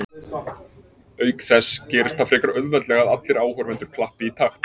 Auk þess gerist það frekar auðveldlega að allir áhorfendur klappi í takt.